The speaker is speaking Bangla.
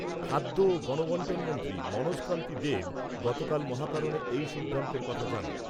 খাদ্য ও গণবন্টন মন্ত্রী মনোজকান্তি দেব গতকাল মহাকরণে এই সিদ্ধান্তের কথা জানান।